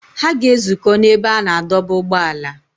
Ha ga-ezukọ n’ebe a na-adọba ụgbọala.